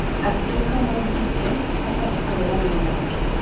Agituĩka mũmbunge hatarĩ kũreganwo nake.